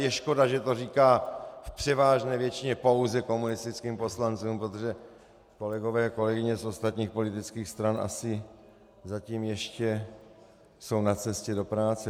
Je škoda, že to říká v převážné většině pouze komunistickým poslancům, protože kolegové a kolegyně z ostatních politických stran asi zatím ještě jsou na cestě do práce.